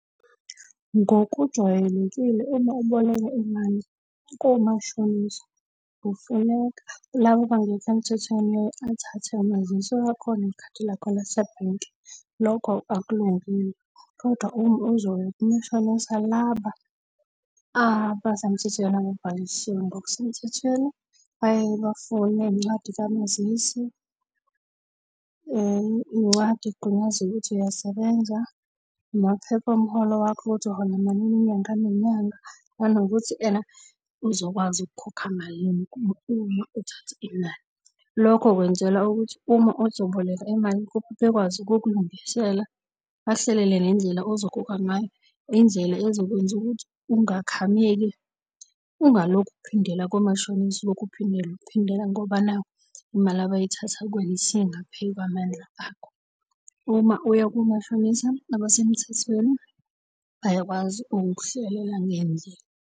Ngokujwayelekile uma uboleka imali komashonisa kufuneka laba abangekho emthethweni athathe umazisi wakho nekhadi lakho lasebhenki. Lokho akulungile. Kodwa uma uzoya komashonisa laba abasemthethweni, ababhalisiwe ngokusemthethweni bayaye bafune incwadi kamazisi, incwadi ekugunyaza ukuthi uyasebenza, amaphepha omholo wakho ukuthi uhola malini inyanga nenyanga, nanokuthi uzokwazi ukukhokha malini uma uma uthatha inani. Lokho kwenzela ukuthi uma uzoboleka imali kubo bekwazi ukukulungisela bakuhlelele nendlela ozokhokha ngayo, indlela ezokwenza ukuthi ungakhameki ungalokhu uphindela komashonisa ulokhu uphindela. Uphindela ngoba nakhu imali abayithatha kuwena isingaphey'kwamandla akho. Uma uya kumashonisa abasemthethweni bayakwazi ukukuhlelela ngendlela.